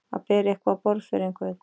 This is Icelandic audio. Að bera eitthvað á borð fyrir einhvern